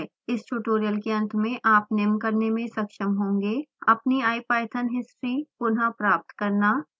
इस ट्यूटोरियल के अंत में आप निम्न करने में सक्षम होंगे अपनी ipython हिस्ट्री पुनः प्राप्त करना